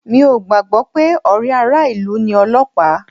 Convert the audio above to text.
Mi ò gbàgbọ́ pé ọ̀rẹ́ ara ilu ni Ọlọ́pàá